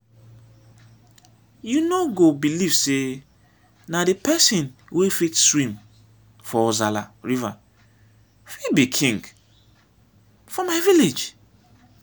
you no go believe say na the person wey fit swim for ozalla river fit be king for my village